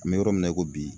An bɛ yɔrɔ min na i ko bi